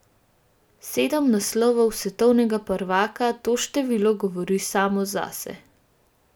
Sedem naslovov svetovnega prvaka, to število govori samo zase.